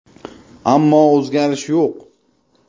Ammo o‘zgarish yo‘q.